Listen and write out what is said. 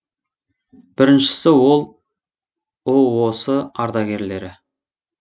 біріншісі ол ұос ардагерлері